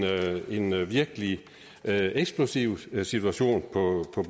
virkelig eksplosiv situation på